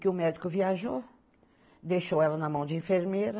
Que o médico viajou, deixou ela na mão de enfermeira.